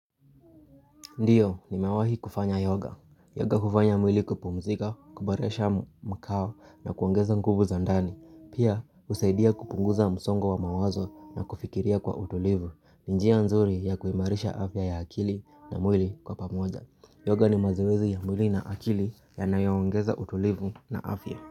Ndio nimewahi kufanya yoga. Yoga hufanya mwili kupumzika, kuboresha mkao na kuongeza nguvu za ndani. Pia husaidia kupunguza msongo wa mawazo na kufikiria kwa utulivu. Ni njia nzuri ya kuimarisha afya ya akili na mwili kwa pamoja. Yoga ni mazoezi ya mwili na akili yanayoongeza utulivu na afya.